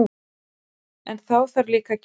En þá þarf líka að gera það!